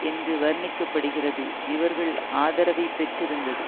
என்று வர்ணிக்க படுகிறது இவர்கள் ஆதரவைப்பெற்று இருந்தது